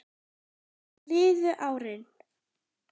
Síðan liðu árin.